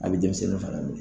A bɛ denmisɛnninw fana minɛ.